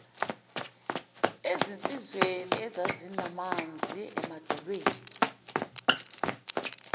ezinsizweni ezazinamanzi emadolweni